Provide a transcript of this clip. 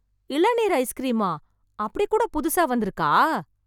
இளநீர் ஐஸ்க்ரீமா... அப்டி கூட புதுசா வந்துருக்கா...